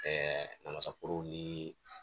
namasa forow ni